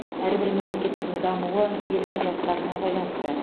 әрбір мемлекеттің дамуы елдің жастарына байланысты